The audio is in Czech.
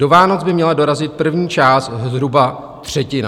Do Vánoc by měla dorazit první část, zhruba třetina."